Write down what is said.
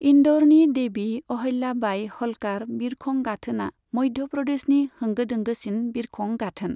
इन्दौरनि देवी अहल्याबाई ह'ल्कार बिरखं गाथोना मध्य प्रदेशनि होंगो दोंगोसिन बिरखं गाथोन।